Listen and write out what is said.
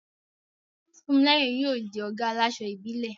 Funmilayo yóò di ọ̀gá àláṣọ ìbílẹ̀.